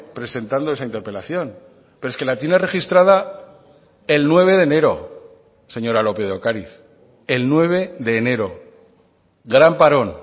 presentando esa interpelación pero es que la tiene registrada el nueve de enero señora lópez de ocariz el nueve de enero gran parón